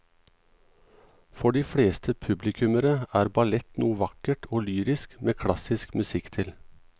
For de fleste publikummere er ballett noe vakkert og lyrisk med klassisk musikk til.